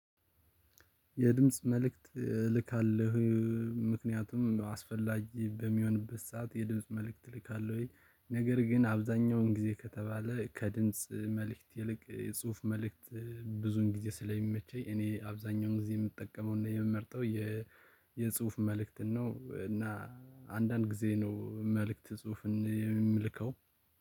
የድምጽ መልእክት እልካለሁ። ምክንያቱም አስፈላጊ በሚሆንበት ሰዓት የድምጽ መልእክት ልካለሁኝ ነገር ግን አብዛኛውን ጊዜ ከተባለ ከድምጽ መልእክት ይልቅ የጽሁፍ መልእክት ብዙን ጊዜ ስለሚመቸኝ እኔ አብዛኛውን ጊዜ የምጠቀመውና የምመርጠው የ የጽሁፍ መልእክትን ነው። እና አንዳንድ ጊዜ ነው መልእክት ጽሁፍን የምመልከው